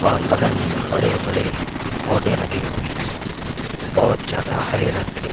और बगल में बड़े-बड़े पौधे लगे हुए है बोहत ज्यादा हरे रंग के--